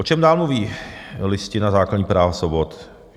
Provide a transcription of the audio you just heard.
O čem dál mluví Listina základních práv a svobod?